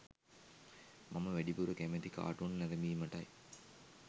මම වැඩිපුර කැමති කාටුන් නැරඹීමටයි.